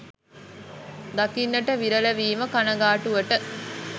දකින්නට විරල වීම කනගාටුවට